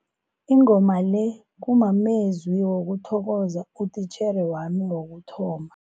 Ingoma le kumamezwi wokuthokoza utitjhere wami wokuthoma.